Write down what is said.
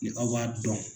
Ni aw b'a dɔn